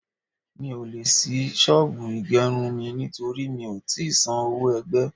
Mi ò le ṣí ṣọ́bùù ìgerun mi nítorí mi ò tí san owó ẹgbẹ́.